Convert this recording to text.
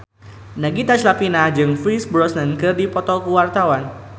Nagita Slavina jeung Pierce Brosnan keur dipoto ku wartawan